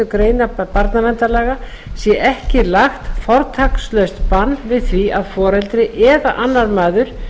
grein barnaverndarlaga sé ekki lagt fortakslaust bann við því að foreldri eða annar maður